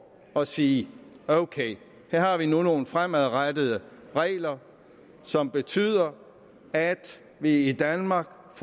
at sige ok her har vi nu nogle fremadrettede regler som betyder at vi i danmark